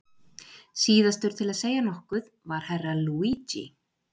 Síðastur til að segja nokkuð var Herra Luigi.